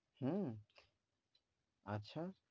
হম আচ্ছা?